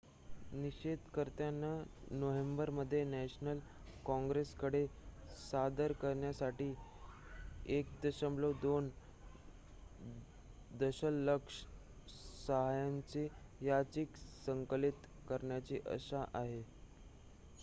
निषेधकर्त्यांना नोव्हेंबरमध्ये नॅशनल कॉंग्रेसकडे सादर करण्यासाठी 1.2 दशलक्ष सह्यांची याचिका संकलित करण्याची आशा आहे